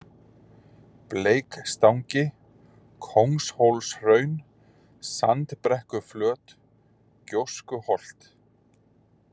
Bleikstangi, Kóngshólshraun, Sandbrekkuflöt, Gjóstuholt